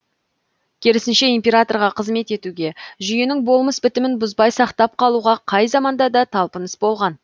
керісінше императорға қызмет етуге жүйенің болмыс бітімін бұзбай сақтап қалуға қай заманда да талпыныс болған